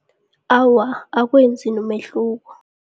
Awa, akwenzi nomehluko.